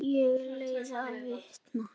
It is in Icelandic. Ég leiði vitni.